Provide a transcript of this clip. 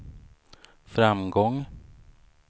framgång